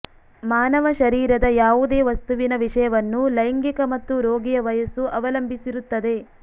ಮಾನವ ಶರೀರದ ಯಾವುದೇ ವಸ್ತುವಿನ ವಿಷಯವನ್ನು ಲೈಂಗಿಕ ಮತ್ತು ರೋಗಿಯ ವಯಸ್ಸು ಅವಲಂಬಿಸಿರುತ್ತದೆ